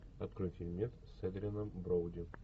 открой фильмец с эдрианом броуди